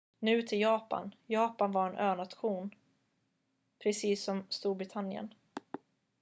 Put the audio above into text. nu till japan japan var en önation precis som storbritannien